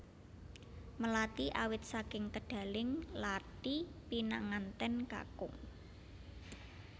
Melati awit saking kedaling lathi pinanganten kakung